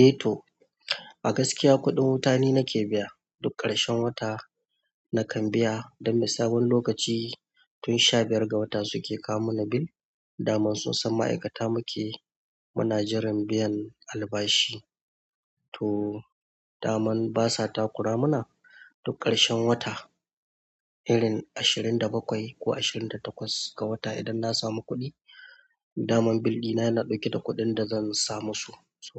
Eh to a gaskiya kuɗin wuta ni nake biya duk ƙarshen wata nakan biya don na sabon lokaci tun sha biyar ga wata suke kawo mana bil, dama sun san ma'aikata muke, muna jiran biyan albashi to daman basa takura mana duk ƙarshen wata, irin ashirin da bakwai ko ashirin da takwas ga wata idan na samu kuɗi, dama bildi na yana ɗauke da kuɗin da zan sa musu, so